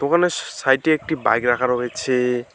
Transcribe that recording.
দোকানের সাইডে একটি বাইক রাখা রয়েছে।